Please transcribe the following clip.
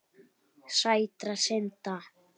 Sætra synda.